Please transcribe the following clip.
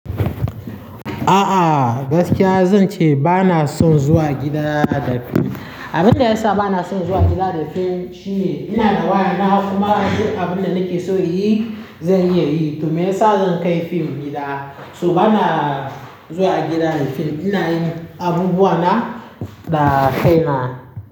A'a, gaskiya zan ce ba na son zuwa gida da fim. Abin da ya sa ba na son zuwa gida da fim shine ina da waya na kuma duk abin da nake so yi zan iya yi. Domin sa zan kai fim gida. Toh ba na zuwa gida da fim, ina yin abubuwa na da kai na.